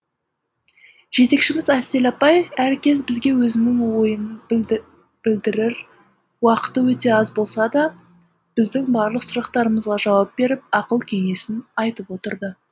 жетекшіміз әсел апай әр кез бізге өзінің ойын білдірір уақыты өте аз болса да біздің барлық сұрақтарымызға жауап беріп ақыл кеңесін айтып отырды